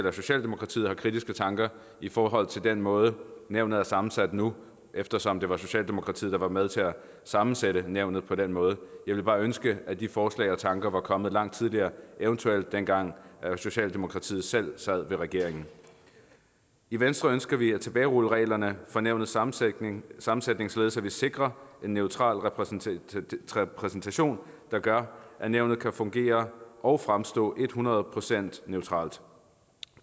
at socialdemokratiet har kritiske tanker i forhold til den måde nævnet er sammensat på nu eftersom det var socialdemokratiet der var med til at sammensætte nævnet på den måde jeg ville bare ønske at de forslag og tanker var kommet langt tidligere eventuelt dengang socialdemokratiet selv sad i regeringen i venstre ønsker vi at tilbagerulle reglerne for nævnets sammensætning sammensætning således at vi sikrer en neutral repræsentation repræsentation der gør at nævnet kan fungere og fremstå hundrede procent neutralt